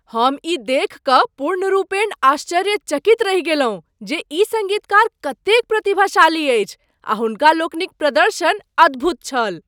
हम ई देखि कऽ पूर्णरूपेण आश्चर्यचकित रहि गेलहुँ जे ई सङ्गीतकार कतेक प्रतिभाशाली अछि। हुनका लोकनिक प्रदर्शन अद्भुत छल।